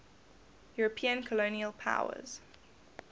european colonial powers